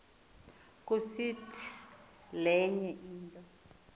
kusiti lenye into